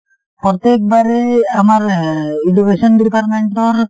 প্ৰত্যেক বাৰেই আমাৰ এ education department ৰ